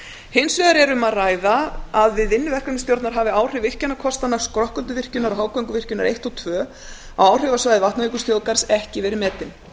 hins vegar er um að ræða að við vinnu verkefnisstjórnar hafi áhrif virkjunarkostanna skrokkölduvirkjunar og hágönguvirkjunar eins og tvö á áhrifasvæði vatnajökulsþjóðgarðs ekki verið metin